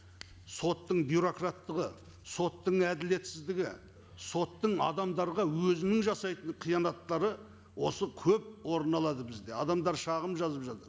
соттың бюрократтығы соттың әділетсіздігі соттың адамдарға өзінің жасайтын қиянаттары осы көп орын алады бізде адамдар шағым жазып жатыр